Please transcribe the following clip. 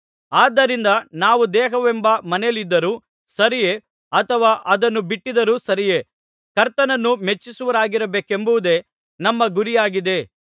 ಆದ್ದರಿಂದ ನಾವು ದೇಹವೆಂಬ ಮನೆಯಲ್ಲಿದ್ದರೂ ಸರಿಯೇ ಅಥವಾ ಅದನ್ನು ಬಿಟ್ಟಿದ್ದರೂ ಸರಿಯೇ ಕರ್ತನನ್ನು ಮೆಚ್ಚಿಸುವವರಾಗಿರಬೇಕೆಂಬುದೇ ನಮ್ಮ ಗುರಿಯಾಗಿದೆ